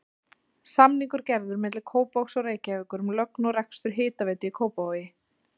Samningur gerður milli Kópavogs og Reykjavíkur um lögn og rekstur hitaveitu í Kópavogi.